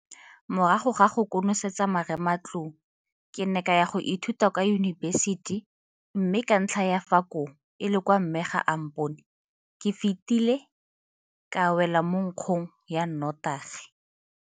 Morago ga go konosetsa marematlou, ke ne ka ya go ithuta kwa yunibesiti mme ka ntlha ya fa koo e le kwa mme ga a mpone, ke fetile ka wela mo nkgong ya notagi.